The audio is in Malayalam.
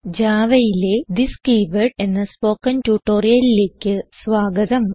Javaയിലെ തിസ് കീവേർഡ് എന്ന സ്പോകെൻ ട്യൂട്ടോറിയലിലേക്ക് സ്വാഗതം